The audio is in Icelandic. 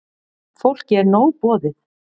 Fólki er nóg boðið.